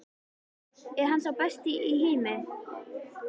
Er hann sá besti í heimi?